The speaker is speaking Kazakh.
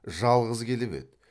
жалғыз келіп еді